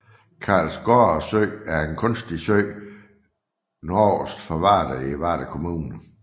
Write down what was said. Karlsgårde Sø er en kunstig sø nordøst for Varde i Varde Kommune